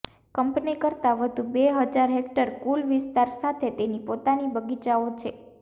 company કરતાં વધુ બે હજાર હેક્ટર કુલ વિસ્તાર સાથે તેની પોતાની બગીચાઓ છે